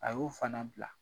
A y'o fana bila.